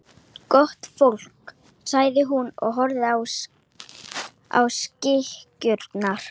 Gott fólk, sagði hún og horfði á sykurkarið.